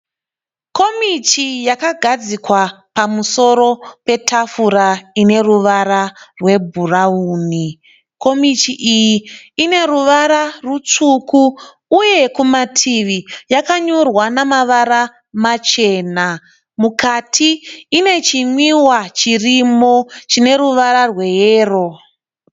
Komichi yakagadzikwa pamusoro petafura ine ruvara rwebhurauni. Komichi iyi ine ruvara rutsvuku uye kumativi yakanyorwa namavara machena. Mukati ine chinwiwa chirimo chine ruvara rweyero.